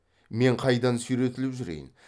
мен қайдан сүйретіліп жүрейін